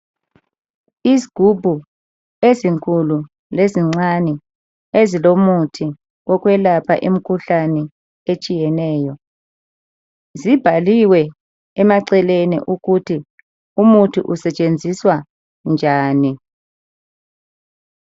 Izigubhu ezinkulu lezincane ezilomuthi owokwelapha imikhuhlane etshiyeneyo. Zibhaliwe emaceleni ukuthi umuthi usetshenziswa njani.